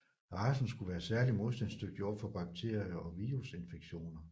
Racen skulle være særligt modstandsdygtig over for bakterier og virusinfektioner